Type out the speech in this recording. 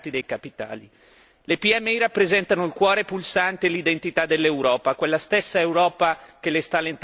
Le PMI rappresentano il cuore pulsante e l'identità dell'Europa, quella stessa Europa che le sta lentamente abbandonando.